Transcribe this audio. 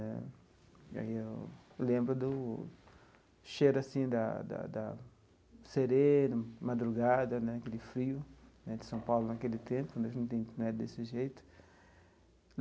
Né aí eu eu lembro do cheiro assim da da da sereno, madrugada né, aquele frio né de São Paulo naquele tempo né, desse jeito.